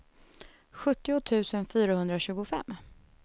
sjuttio tusen fyrahundratjugofem